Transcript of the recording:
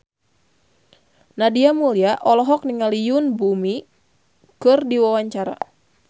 Nadia Mulya olohok ningali Yoon Bomi keur diwawancara